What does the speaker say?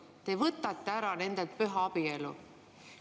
Te võtate nendelt ära püha abielu.